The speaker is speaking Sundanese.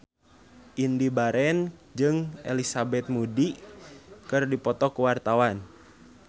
Indy Barens jeung Elizabeth Moody keur dipoto ku wartawan